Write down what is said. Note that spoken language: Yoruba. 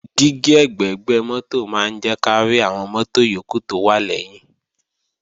Dígí ẹ̀gbẹ̀gbẹ́ mọ́tò máa ń jẹ́ kárí àwọn mọ́tò yókù tó wà lẹ́yìn